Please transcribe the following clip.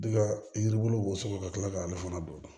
Ne ka yiri bulu bɔn sɔgɔ ka tila k'ale fana don